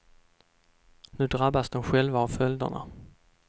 Nu drabbas de själva av följderna.